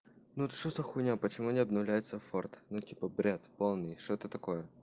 ну вот что за хуйня почему не обновляется форд ну типа бред полный что это такое